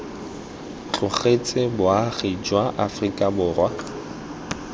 tlogetse boagi jwa aforika borwa